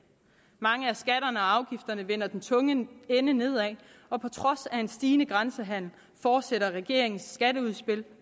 mange af skatterne og afgifterne vender den tunge ende nedad og på trods af en stigende grænsehandel fortsætter regeringens skatteudspil